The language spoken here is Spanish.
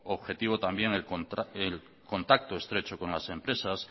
objetivo también el contacto estrecho con las empresas